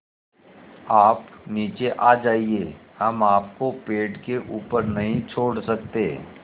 आप नीचे आ जाइये हम आपको पेड़ के ऊपर नहीं छोड़ सकते